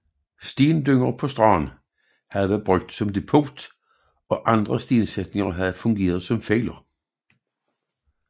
Stendynger på stranden havde været brugt som depot og andre stensætninger havde fungeret som fælder